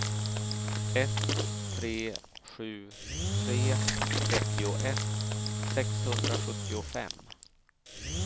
ett tre sju tre trettioett sexhundrasjuttiofem